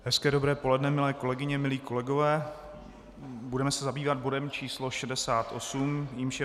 Hezké dobré poledne milé kolegyně, milí kolegové, budeme se zabývat bodem č. 68, jímž je